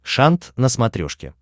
шант на смотрешке